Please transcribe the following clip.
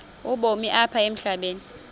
ubomi apha emhlabeni